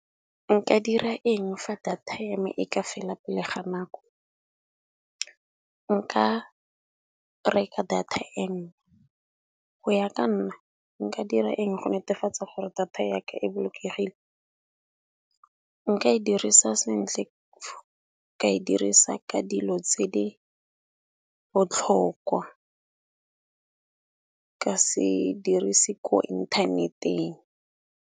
Nka dira eng fa data ya me e ka fela pele ga nako, nka reka data e nngwe go ya ka nna nka dira eng go netefatsa gore data yaka e bolokegile. Nka e dirisa sentle ka e dirisa ka dilo tse di botlhokwa ka se dirise ko inthaneteng.